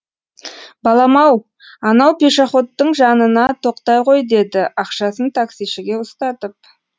балам ау анау пешоходтың жанына тоқтай ғой деді ақшасын таксишіге ұстатып